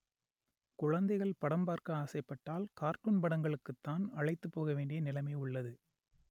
குழந்தைகள் படம் பார்க்க ஆசைப்பட்டால் கார்ட்டூன் படங்களுக்கு தான் அழைத்து போக வேண்டிய நிலமை உள்ளது